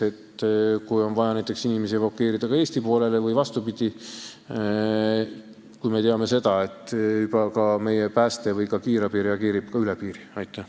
Kui on vaja näiteks inimesi evakueerida Eesti poolele või vastupidi, siis, nagu me teame, meie pääste ja kiirabi reageerivad juba ka piiriüleselt.